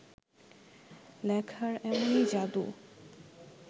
লেখার এমনই যাদু